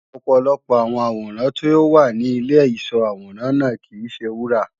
ọ̀pọ̀lọpọ̀ àwọn àwòrán tí ó wà ní Ìlé ìsó àwòrán náà kìí se wúrà